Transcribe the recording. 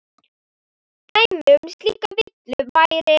Dæmi um slíka villu væri